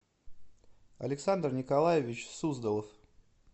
александр николаевич суздалов